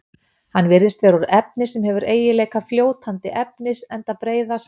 Hann virðist vera úr efni sem hefur eiginleika fljótandi efnis enda breiðast